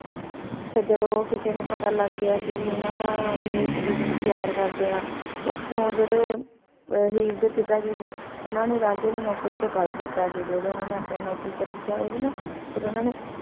ਫੇਰ ਜਦੋਂ ਕਿਸੇ ਨੂ ਪਤਾ ਲਾਗ ਗਯਾ ਸੀ ਭੀ ਇਨਾਂ ਦਾ ਭੀ ਈਯ ਏਇਕ ਦੋਜਯ ਨੂ ਪਯਾਰ ਕਰਦੇ ਆ ਓਥੋਂ ਜੇਰੇ ਹੀਰ ਦੇ ਪਿਤਾ ਜੀ ਸੀ ਓਹਨਾਂ ਨੇ ਰਾਂਝੇ ਨੂ ਨੌਕਰੀ ਤੋਂ ਕਦ ਦਿਤਾ ਸੀ ਜੇਰੇ ਓਨਾਂ ਨੇ ਆਪਣੀ ਨੌਕਰੀ ਤੇ ਰਖ੍ਯਾ ਹੋਯਾ ਸੀ ਨਾ ਫੇਰ ਓਨਾਂ ਨੇ